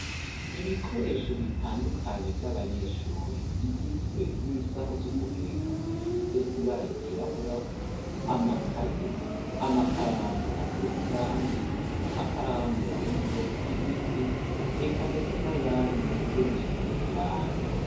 Ibikoresho bitandukanye vy'abanyeshure bigizwe n'isaho z'uguheka zifise ibara ry'irabura , amakaye , amakaramu asesa irangi n'amakaramu yo mu bwoko bw'igiti eka ndetse nayandi yo gusiga irangi.